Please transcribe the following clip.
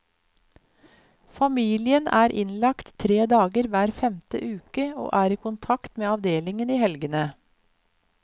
Familien er innlagt tre dager hver femte uke og er i kontakt med avdelingen i helgene.